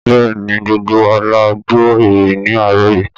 Bẹ́ẹ̀ ni, gbogbo wa la gbọ́ ìròyìn ní àárọ̀ yìí